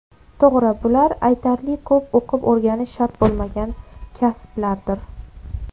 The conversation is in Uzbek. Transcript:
To‘g‘ri, bular aytarli ko‘p o‘qib-o‘rganish shart bo‘lmagan kasblardir.